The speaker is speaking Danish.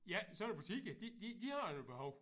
Sådan nogle butikker de de de har jo et behov